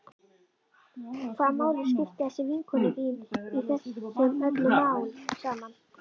Hvaða máli skiptir þessi vinkona þín í þessu öllu saman?